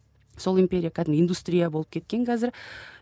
сол империя кәдімгі индустрия болып кеткен қазір